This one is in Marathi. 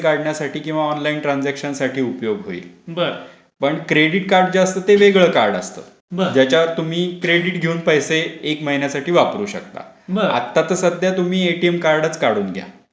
काढण्यासाठी किंवा ऑनलाईन ट्रांजेक्शन उपयोग होईल पण क्रेडिट जे असत ते वेगळ कार्ड असत ज्याच्यावर तुम्ही क्रेडिट घेऊन पैसे एक महिन्यासाठी वापरू शकता. आता त सध्या तुम्ही एटीएम कार्डच काढून घ्या.